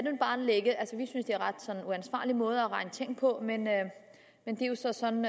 sådan uansvarlig måde at regne ting ud på men det er jo så sådan